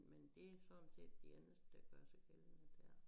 Men detsådan set det eneste der gør sig gældende dér